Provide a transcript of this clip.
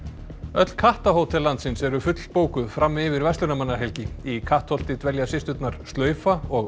öll landsins eru fullbókuð fram yfir verslunarmannahelgi í Kattholti dvelja systurnar slaufa og